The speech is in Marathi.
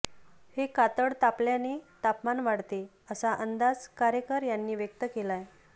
हे कातळ तापल्याने तापमान वाढते असा अंदाज कारेकर यांनी व्यक्त केलाय